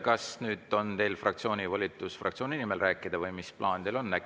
Kas nüüd on teil fraktsiooni volitus fraktsiooni nimel rääkida või mis plaan teil on?